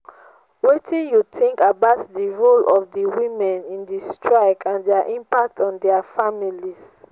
wetin you think about di role of di women in di strike and dia impact on dia families?